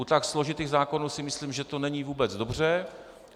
U tak složitých zákonů si myslím, že to není vůbec dobře.